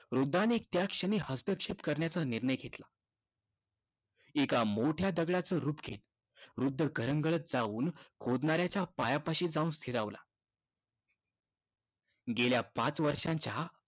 वृद्धाने त्याच क्षणी हस्तक्षेप करण्याचा निर्णय घेतला. एका मोठ्या दगडाचं रूप घेत वृद्ध घरंगळत जाऊन खोदणाऱ्याच्या पायापाशी जाऊन स्थिरावला. गेल्या पाच वर्षांच्या